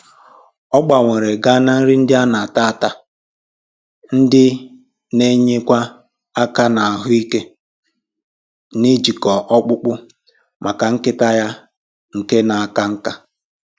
Ọ gbanwere ga na nri ndị ana-ata ata, ndị na-enyekwa aka na ahụike njikọ ọkpụkpụ, maka nkịta ya nke na aka nká